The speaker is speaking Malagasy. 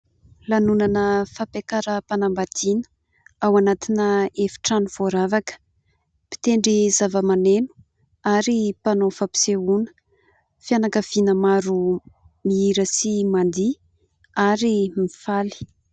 Lanonana fampiakaram-panambadiana, ao anatina efitrano voaravaka. Mpitendry zavamaneno ary mpanao fampisehoana, fianakaviana maro mihira sy mandihy ary mifaly.